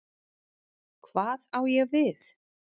Hvað á ég við?